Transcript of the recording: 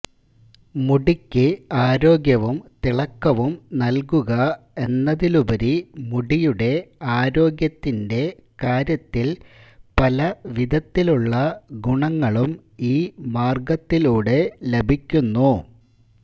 മുടിക്ക് ആരോഗ്യവും തിളക്കവും നല്കുക എന്നതിലുപരി മുടിയുടെ ആരോഗ്യത്തിന്റെ കാര്യത്തില് പല വിധത്തിലുള്ള ഗുണങ്ങളും ഈ മാര്ഗ്ഗത്തിലൂടെ ലഭിക്കുന്നു